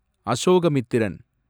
Ashokamitran